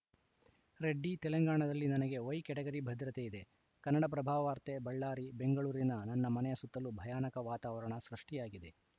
ರೆಡ್ಡಿ ತೆಲಂಗಾಣದಲ್ಲಿ ನನಗೆ Y category ಭದ್ರತೆ ಇದೆ ಕನ್ನಡಪ್ರಭವಾರ್ತೆ ಬಳ್ಳಾರಿ ಬೆಂಗಳೂರಿನ ನನ್ನ ಮನೆಯ ಸುತ್ತಲೂ ಭಯಾನಕ ವಾತಾವರಣ ಸೃಷ್ಟಿಯಾಗಿದೆ